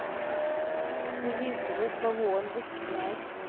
De viser oss hva våren virkelig er.